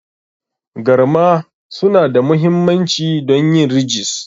Garma suna da mahimmanci don yin ridges.